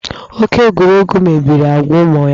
Oke egwuregwu mebiri agwa ụmụ ya.